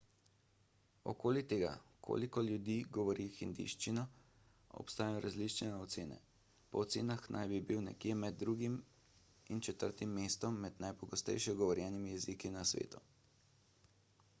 okoli tega koliko ljudi govori hindijščino obstajajo različne ocene po ocenah naj bi bil nekje med drugim in četrtim mestom med najpogosteje govorjenimi jeziki na svetu